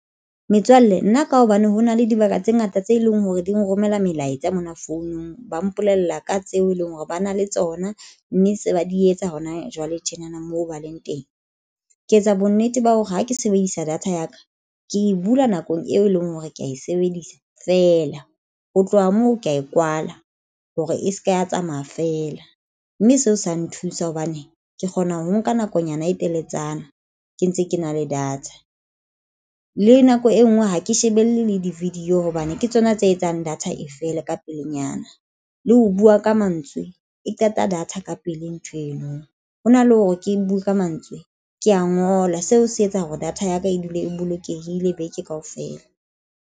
Metswalle nna ka hobane hona le dibaka tse ngata tse leng hore di nrommella melaetsa mona founung ba mpolella ka tseo e leng hore ba na le tsona mme se ba di etsa hona jwale tjenana moo ba leng teng. Ke etsa bonnete ba hore ha ke sebedisa data ya ka ke e bula nakong eo e leng hore ke ya e sebedisa fela ho tloha moo ke ya e kwala hore eseke ya tsamaya feela mme seo sa nthusa hobane ke kgona ho nka nakonyana e teletsana ke ntse ke na le data le nako e nngwe ha ke shebelle le di video hobane ke tsona tse etsang data e fele ka pelenyana le ho bua ka mantswe e qeta data ka pele nthweno hona le hore ke bue ka mantswe ke ya ngola seo se etsa hore data ya ka e dule e bolokehile beke kaofela.